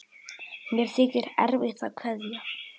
Mér þykir erfitt að kveðja.